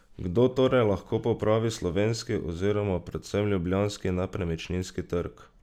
Kdo torej lahko popravi slovenski oziroma predvsem ljubljanski nepremičninski trg?